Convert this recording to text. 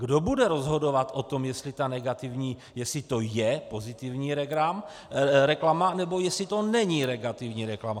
Kdo bude rozhodovat o tom, jestli to je pozitivní reklama, nebo jestli to není negativní reklama?